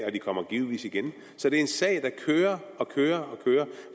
og den kommer givetvis igen så det er en sag der kører og kører